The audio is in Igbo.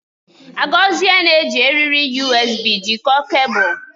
Agozie na-eji eriri USB jikọọ kebul.